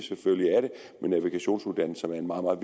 men navigationsuddannelserne er meget meget